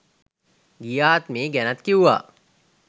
ගිය ආත්මේ ගැනත් කිව්වා.